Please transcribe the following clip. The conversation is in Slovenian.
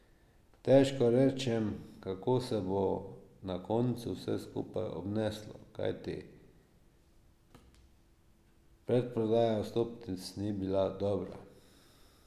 Težko rečem, kako se bo na koncu vse skupaj obneslo, kajti predprodaja vstopnic ni bila dobra.